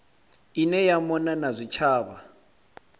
ine ya mona na zwitshavha